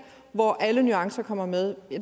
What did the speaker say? hvor alle nuancer kommer med